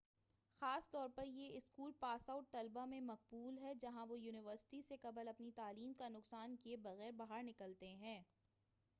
خاص طور پر یہ اسکول پاس آؤٹ طلبہ میں مقبول ہے جہاں وہ یونیورسٹی سے قبل اپنی تعلیم کا نقصان کیے بغیرباہر نکلتے ہیں